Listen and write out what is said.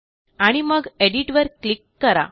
आणि मग एडिट वर क्लिक करा